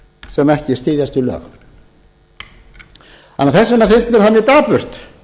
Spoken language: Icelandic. sem ekki styðjast við lög þess vegna finnst mér það mjög dapurt